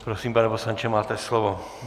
Prosím, pane poslanče, máte slovo.